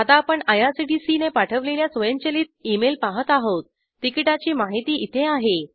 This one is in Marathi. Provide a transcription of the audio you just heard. आता आपण आयआरसीटीसीने पाठवलेल्या स्वयंचलित ई मेल पाहत आहोत तिकिटाची माहिती इथे आहे